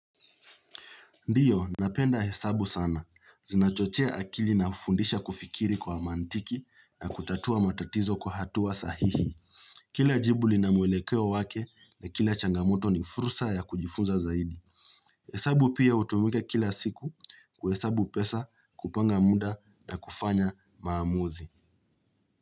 Ndiyo, napenda hesabu sana. Zinachochea akili na fundisha kufikiri kwa mantiki na kutatua matatizo kwa hatua sahihi. Kila jibu lina mwelekeo wake na kila changamoto ni fursa ya kujifunza zaidi. Hesabu pia utumika kila siku kuhesabu pesa kupanga muda na kufanya maamuzi.